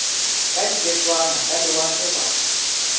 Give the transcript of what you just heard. ka diketswana ka lewatle ba